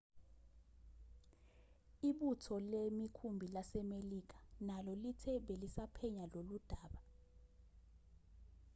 ibutho lemikhumbi lasemelika nalo lithe belisaphenya loludaba